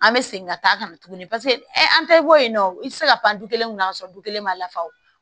An bɛ segin ka taa ka na tuguni paseke an tɛ bɔ yen nɔ i tɛ se ka pan du kelen kunna ka sɔrɔ du kelen ma lafa